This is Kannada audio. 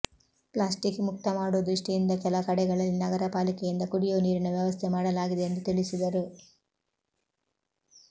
ಪ್ಲಾಸ್ಟಿಕ್ ಮುಕ್ತ ಮಾಡೊ ದೃಷ್ಟಿಯಿಂದ ಕೆಲ ಕಡೆಗಳಲ್ಲಿ ನಗರ ಪಾಲಿಕೆಯಿಂದ ಕುಡಿಯೊ ನೀರಿನ ವ್ಯವಸ್ಥೆ ಮಾಡಲಾಗಿದೆ ಎಂದು ತಿಳಿಸಿದರು